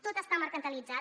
tot està mercantilitzat